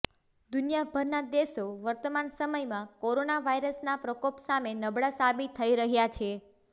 દુનિયાભરના દેશો વર્તમાન સમયમાં કોરોના વાયરસના પ્રકોપ સામે નબળા સાબિત થઇ રહ્યા છે